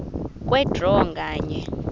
kwe draw nganye